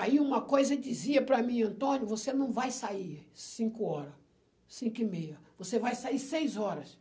Aí uma coisa dizia para mim, Antônio, você não vai sair cinco hora, cinco e meia, você vai sair seis horas.